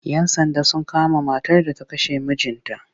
Yan Sanda sun kama matar da ta kashe mijinta